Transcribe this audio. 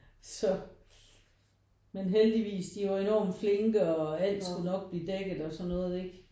Så men heldigvis de var enormt flinke og alt skulle nok blive dækket og sådan noget ikke